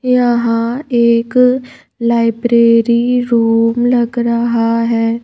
यहां एक library room लग रहा है।